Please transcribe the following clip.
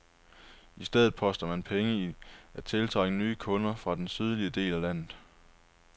I stedet poster man penge i at tiltrække nye kunder fra den sydlige del af landet.